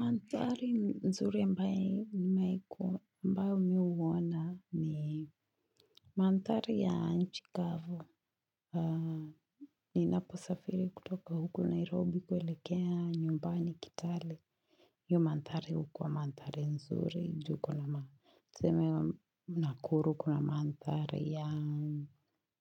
Mandhari nzuri ambaye nimeku ambavyo huona ni mandhari ya nchi kavu. Ninaposafiri kutoka huku Nairobi kuelekea nyumbani kitale. Hiyo mandhari hukuwa mandhari nzuri juu. Ndiyo tuna manthari ya,